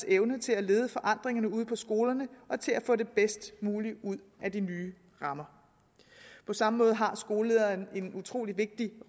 evne til at lede forandringerne ude på skolerne og til at få det bedst mulige ud af de nye rammer på samme måde har skolelederen en utrolig vigtig